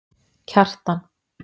Kjartan